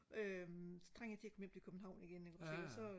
øhm så trænger jeg til og komme hjem til København igen ikke også ikke så